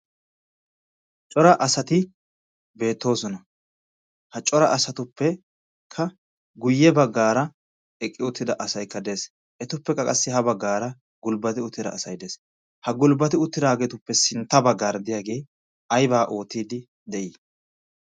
Cora asati beettoosona. Ha cora astuppekka guyye baggaara eqqi uttida asaykka de'ees. Etuppekka qassi ha baggaara gulbbatidi uttida asay dees. Ha gulbbatidi uttidaageetuppe sintta baggara aybaa oottiiddi de'ii.